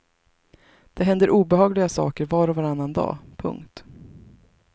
Det händer obehagliga saker var och varannan dag. punkt